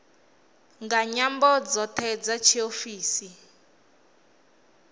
nga nyambo dzoṱhe dza tshiofisi